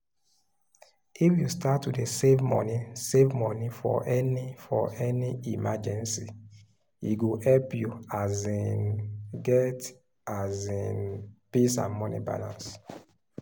if you start to dey save money for any for any emergency e go help you um get um peace and money balance